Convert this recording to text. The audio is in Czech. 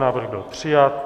Návrh byl přijat.